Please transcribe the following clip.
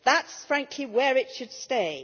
That is, frankly, where it should stay.